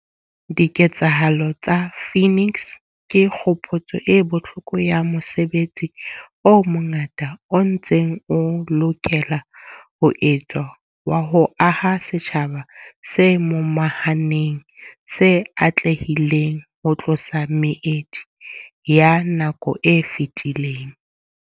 Diketsahalo tsa Phoenix ke kgopotso e bohloko ya mosebetsi o mongata o ntseng o lokela ho etswa wa ho aha setjhaba se momahaneng se atlehileng ho tlosa meedi ya nako e fetileng.